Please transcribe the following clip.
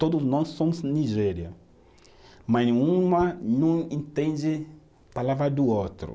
Todos nós somos Nigéria, mas uma não entende a palavra do outro.